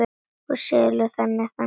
Og seljum það þannig.